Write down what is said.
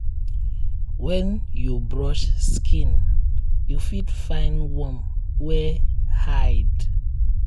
when you brush skin you fit find worm wer um hide.